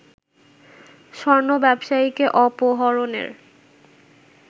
স্বর্ণ ব্যবসায়ীকে অপহরণের